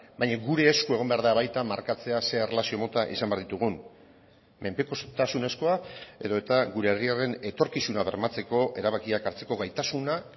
baina gure esku egon behar da baita markatzea ze erlazio mota izan behar ditugun menpekotasunezkoa edota gure herriaren etorkizuna bermatzeko erabakiak hartzeko gaitasuna